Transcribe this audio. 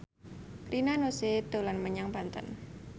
Rina Nose dolan menyang Banten